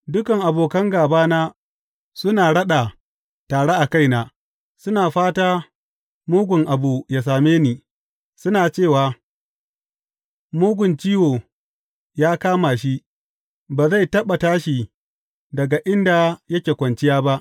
Dukan abokan gābana suna raɗa tare a kaina; suna fata mugun abu ya same ni, suna cewa, Mugun ciwo ya kama shi; ba zai taɓa tashi daga inda yake kwanciya ba.